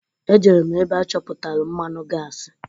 Ejere m ebe achọpụtalụ mmanụ gasi.